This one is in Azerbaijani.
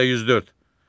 Maddə 104.